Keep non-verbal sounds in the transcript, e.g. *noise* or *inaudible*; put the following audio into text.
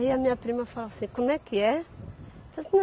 a minha prima falava assim, como é que é? *unintelligible*